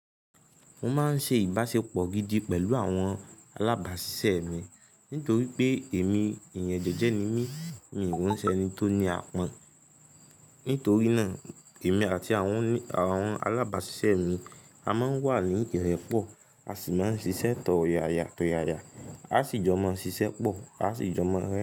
Mo máa ń ṣe ìbáṣepọ̀ gidi pẹ̀lú àwọn alábáṣiṣẹ́ mi nítorí pé èmi èèyàn jẹ́jẹ́ ni mí, mi ò ní jẹ́ ẹni tó ní apon. Nítorí náà èmi àti àwọn, àwọn alábáṣiṣẹ́ mi a máa ń wà ní ìrepọ̀, a sì máa ń ṣiṣẹ́ tọ̀yàyàtọ̀yàyà, a sì jọ máa ń ṣiṣẹ́ pọ̀, a sì jọ máa ń rẹ́.